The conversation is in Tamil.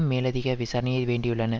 மேலதிக விசாரணையை வேண்டியுள்ளன